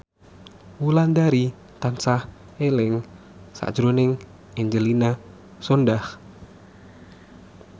Wulandari tansah eling sakjroning Angelina Sondakh